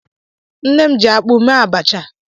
Nne m jiakpụ mee abacha.